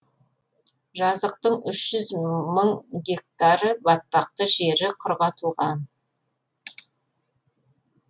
жазықтың үш жүз мың гектары батпақты жері құрғатылған